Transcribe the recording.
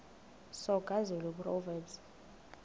soga zulu proverbs